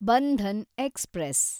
Bandhan express